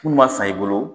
Munnu ma san i bolo